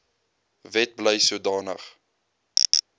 wet bly sodanige